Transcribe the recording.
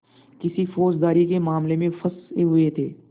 किसी फौजदारी के मामले में फँसे हुए थे